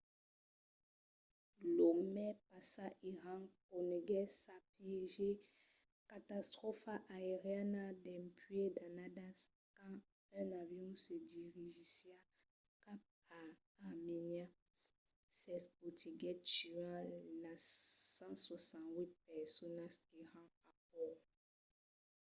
lo mes passat iran coneguèt sa pièger catastròfa aeriana dempuèi d'annadas quand un avion que se dirigissiá cap a armènia s'espotiguèt tuant las 168 personas qu"èran a bòrd